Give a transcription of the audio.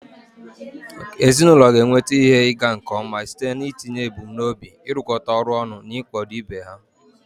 Ezinụlọ ga-enweta ihe ịga nke ọma site n'itinye ebumnobi, ịrụkọ ọrụ ọnụ, na ịkwado ibe ha.